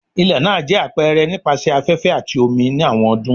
Ilẹ naa jẹ apẹrẹ nipasẹ afẹfẹ ati omi ni awọn ọdun